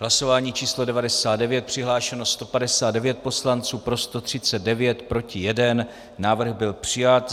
Hlasování číslo 99, přihlášeno 159 poslanců, pro 139, proti 1, návrh byl přijat.